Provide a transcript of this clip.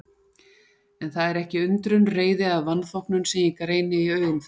En það er ekki undrun, reiði eða vanþóknun sem ég greini í augum þeirra.